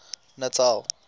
natal